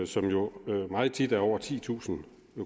som jo meget tit er over titusind